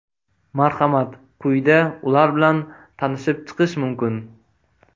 Marhamat, quyida ular bilan tanishib chiqish mumkin.